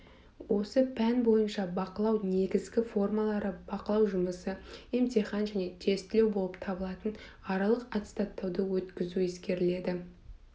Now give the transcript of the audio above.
осы пән бойынша бақылау негізгі формалары бақылау жұмысы емтихан және тестілеу болып табылатын аралық аттестаттауды өткізу ескеріледі